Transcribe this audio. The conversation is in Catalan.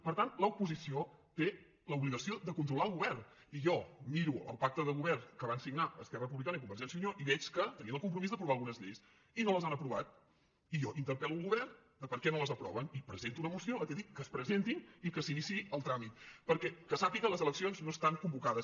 per tant l’opo·sició té l’obligació de controlar el govern i jo miro el pacte de govern que van signar esquerra republi·cana i convergència i unió i veig que tenien el com·promís d’aprovar algunes lleis i no les han aprovat i jo interpel·lo el govern de per què no les aproven i presento una moció en què dic que es presentin i que s’iniciï el tràmit perquè que sàpiga les eleccions no estan convocades